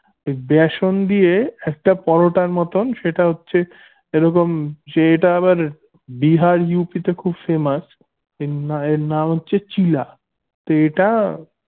বেসন দিয়ে একটা পরোটার মতন সেটা হচ্ছে এরকম সেটা আবার বিহার ইউপিতে খুব famous নাম হচ্ছে